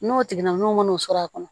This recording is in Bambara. N'o tigilam'o sɔrɔ a kɔnɔ